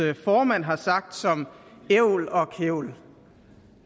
formand har sagt som ævl og kævl